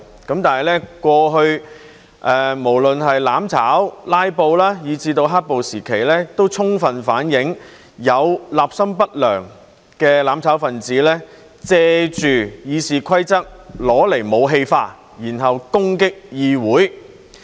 但是，過去無論是"攬炒"、"拉布"，以至"黑暴"時期，都充分反映有立心不良的"攬炒分子"借《議事規則》用來武器化，然後攻擊議會。